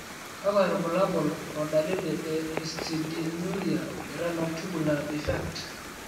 kakwa irbulabol o dalili e Histidinuria renal tubular defect?